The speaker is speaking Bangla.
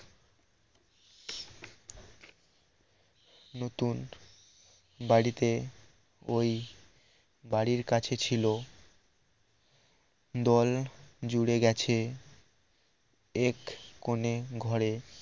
নতুন বাড়িতে ওই বাড়ির কাছে ছিল দোল জুড়ে গেছে এক কোনে ঘরে